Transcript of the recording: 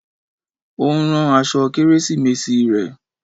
Ó ń rán aṣọ Kérésìmesì rẹ̀.